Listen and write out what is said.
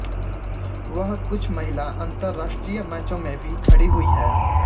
वह कुछ महिला अंतर्राष्ट्रीय मैचों में भी खड़ी हुई हैं